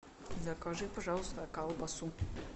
закажи пожалуйста колбасу